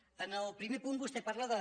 en el primer punt vostè parla de